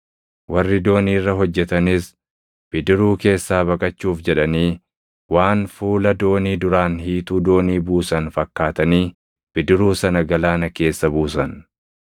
Warri doonii irra hojjetanis bidiruu keessaa baqachuuf jedhanii waan fuula doonii duraan hiituu doonii buusan fakkaatanii bidiruu sana galaana keessa buusan.